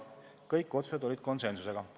Kõik otsused tehti konsensusega.